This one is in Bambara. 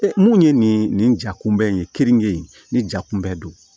mun ye nin nin ja kunbɛ in ye keninge in ni ja kunbɛ don